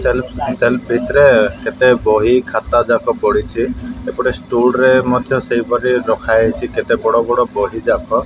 ଚାଲୁ ଚାଲୁ ଭିତରେ କେତେ ବହି ଖାତା ଯାକ ପଡ଼ିଛି। ଏପଟେ ଷ୍ଟୁଲ ରେ ମଧ୍ୟ ସେହିପରି ରଖା ହେଇଚି। କେତେ ବଡ଼ ବଡ଼ ବହି ଯାକ --